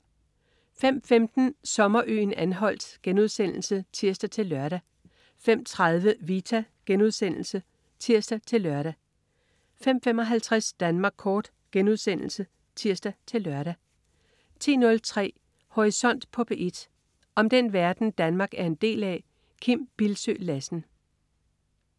05.15 Sommerøen Anholt* (tirs-lør) 05.30 Vita* (tirs-lør) 05.55 Danmark Kort* (tirs-lør) 10.03 Horisont på P1. Om den verden, Danmark er en del af. Kim Bildsøe Lassen